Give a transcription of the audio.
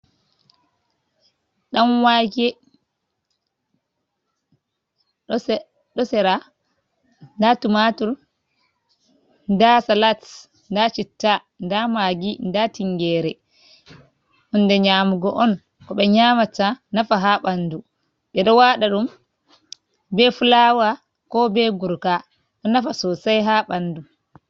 Ɗanwake ɗo sera, nda tumatur, nda salat, nda citta, nda magi, nda tingere. Hunde nyaamugo on ko ɓe nyaamata nafa haa ɓandu, ɓe ɗo waɗa ɗum be fulawa, ko be gurka, ɗo nafa sosai haa ɓandu.